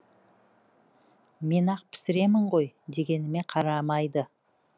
мен ақ пісіремін ғой дегеніме қарамайды